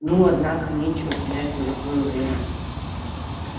ну однако нечего терять золотое время